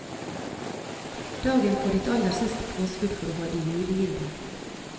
Dagen for ditt aller siste påskudd for å holde julegilde.